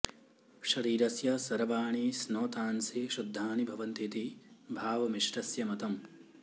शरीरस्य सर्वाणि स्नोतांसि शुद्धानि भवन्ति इति भावमिश्रस्य मतम्